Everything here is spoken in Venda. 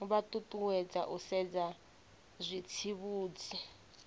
vha ṱuṱuwedzwa u sedza zwitsivhudzi